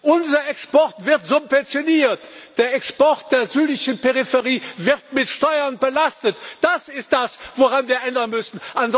Unser Export wird subventioniert. Der Export der südlichen Peripherie wird mit Steuern belastet. Das ist das, woran wir etwas ändern müssen.